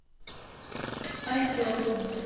озер